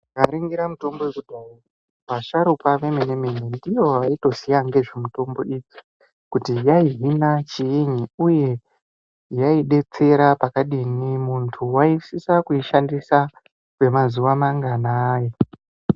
Tikaningira mutombo yekudhaya vasharukwa vemene mene ndivo vaitoziya nezvemutombo idzi kuti yaihina chiini uye yaidetsera pakadini muntu waisisa kuishandisa kwemazuwa manganai.